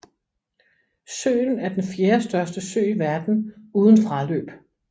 Søen er den fjerdestørste sø i verden uden fraløb